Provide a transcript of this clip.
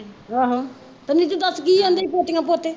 ਆਹੋ, ਨੀਤੂ ਦੱਸ ਕੀ ਕਹਿੰਦੇ ਪੋਤੇ ਪੋਤੀਆਂ